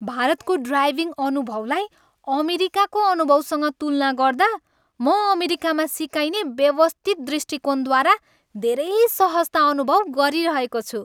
भारतको ड्राइभिङ अनुभवलाई अमेरिकाको अनुभवसँग तुलना गर्दा, म अमेरिकामा सिकाइने व्यवस्थित दृष्टिकोणद्वारा धेरै सहजता अनुभव गरिरहेको छु।